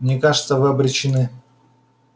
мне кажется вы обречены